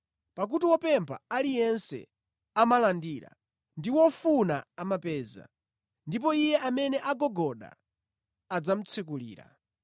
Pakuti wopempha aliyense amalandira; ndi wofuna amapeza; ndipo iye amene agogoda, adzamutsekulira.